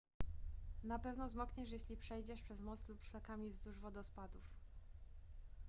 na pewno zmokniesz jeśli przejdziesz przez most lub szlakami wzdłuż wodospadów